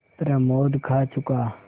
प्रमोद खा चुका